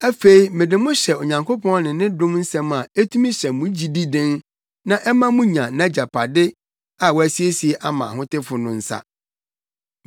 “Afei mede mo hyɛ Onyankopɔn ne ne dom nsɛm a etumi hyɛ mo gyidi den na ɛma munya nʼagyapade a wasiesie ama ahotefo no nsa.